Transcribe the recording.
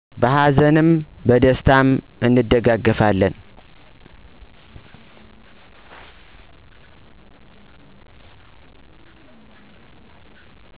በሀዘንም በደስታም እንደጋገፋለን